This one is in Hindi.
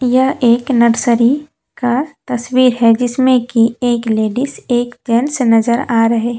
यह एक नर्सरी का तस्वीर है। जिसमें कि एक लेडिस एक जेंट्स नजर आ रहे--